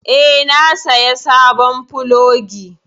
Eh, na saya sabon plogi.